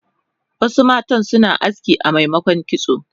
Wasu matan suna aski amemokon kitso